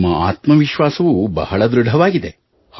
ನಿಮ್ಮ ಆತ್ಮವಿಶ್ವಾಸವೂ ಬಹಳ ಧೃಡವಾಗಿದೆ